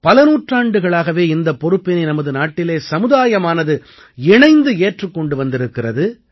பல நூற்றாண்டுகளாகவே இந்தப் பொறுப்பினை நமது நாட்டிலே சமுதாயமானது இணைந்து ஏற்றுக் கொண்டு வந்திருக்கிறது